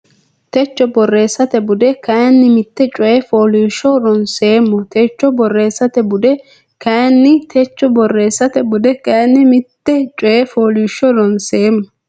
techo borreessate bude kayinni mitte coy fooliishsho ronseemmo techo borreessate bude kayinni techo borreessate bude kayinni mitte coy fooliishsho ronseemmo.